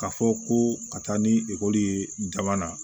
K'a fɔ ko ka taa ni ekɔli ye jamana na